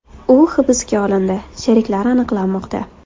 U hibsga olindi, sheriklari aniqlanmoqda”.